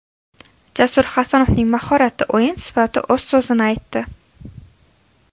Jasur Hasanovning mahorati, o‘yin sifati o‘z so‘zini aytdi.